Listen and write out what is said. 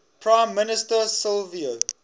prime minister silvio